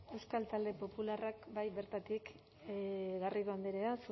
euskal talde popularrak bai bertatik garrido andrea